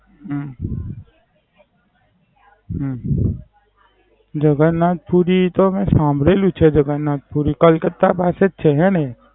હમ હમ જગન્નાથપુરી, મેં સાંભળેલું છે જગન્નાથ પુરી. કલકત્તા પાસે જ છેને નઈ?